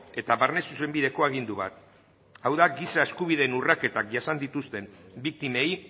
eta barne zuzenbideko agindu bat hau da giza eskubideen urraketak jasan dituzten biktimei